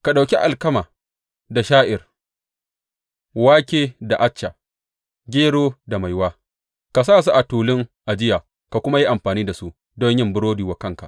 Ka ɗauki alkama da sha’ir, wake da acca, gero da maiwa; ka sa su a tulun ajiya ka kuma yi amfani da su don yin burodi wa kanka.